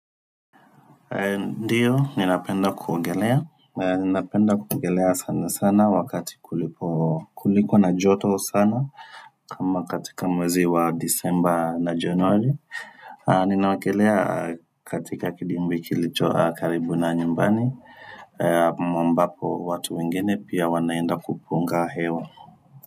Ndio ninapenda kuogelea, ninapenda kuogelea sana sana wakati kuliko na joto sana, kama katika mwezi wa Disemba na Januari Ninaogelea katika kidimbwi kilicho karibu na nyumbani. Ambapo watu wengine pia wanaenda kupunga hewa.